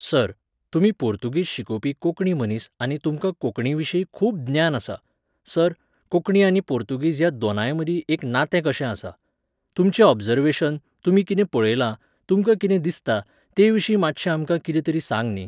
Sir, तुमी पोर्तुगीज शिकोवपी कोंकणी मनीस आनी तुमकां कोंकणीविशीं खूब ज्ञान आसा. सर, कोंकणी आनी पोर्तुगीज ह्या दोनांयमदीं एक नातें कशें आसा. तुमचें ओबजर्वेशन, तुमी कितें पळयलां, तुमकां कितें दिसता, तेविशीं मात्शें आमकां कितें तरी सांग न्ही.